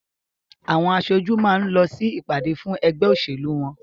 Àwọn aṣojú máa ń lọ sí ìpàdé fún ẹgbẹ́ òṣèlú wọ́n